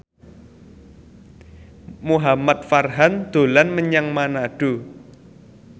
Muhamad Farhan dolan menyang Manado